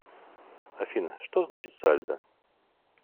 афина что значит сальдо